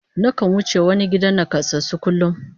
Nakan wuce wani gidan nakasassu kullum